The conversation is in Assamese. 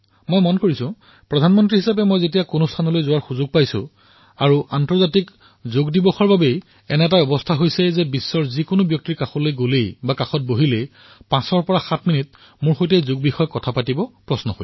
মই দেখিলো যে প্ৰধানমন্ত্ৰীৰ ৰূপত যেতিয়াৰে পৰা মই বিভিন্ন স্থানলৈ গৈছো আৰু আন্তৰ্জাতিক যোগ দিৱসৰ বাবে স্থিতি এনে হৈছে যে বিশ্বৰ যলৈ যাও বহো তেতিয়া কোনোবা নহয়কোনোবাজনে পাঁচসাত মিনিচ যোগৰ বিষয়েও প্ৰশ্ন কৰে